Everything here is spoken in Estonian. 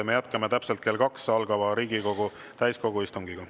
Me jätkame täpselt kell kaks algava Riigikogu täiskogu istungiga.